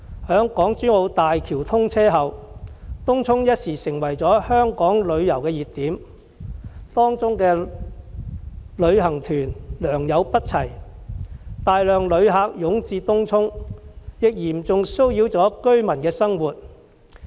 在港珠澳大橋通車後，東涌頓時成為香港旅遊的熱點，當中的旅行團良莠不齊，大量旅客湧至東涌，嚴重騷擾了居民的生活。